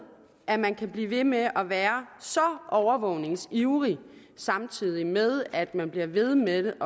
at man kan blive ved med at være så overvågningsivrig samtidig med at man bliver ved med